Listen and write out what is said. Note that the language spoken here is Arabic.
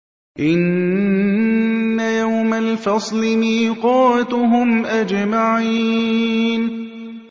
إِنَّ يَوْمَ الْفَصْلِ مِيقَاتُهُمْ أَجْمَعِينَ